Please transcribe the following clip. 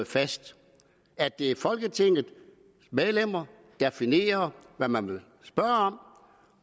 fast at det er folketingets medlemmer der definerer hvad man vil spørge om